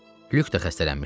Lük də xəstələnmişdi.